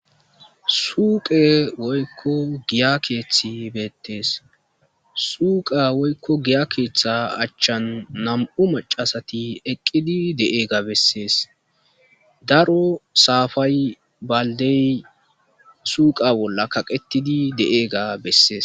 Suuqe woyko giya Keth betes . Suqa woyko giya Ketha achan nam'u macasati eqid de'iyaga beses. Daro sapay, baldey suqa bolla kaqetid de'iyaga beses.